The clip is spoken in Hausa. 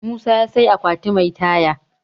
musa ya sai akwati Mai Taya